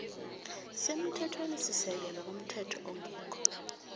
semthethwenisisekelo komthetho ongekho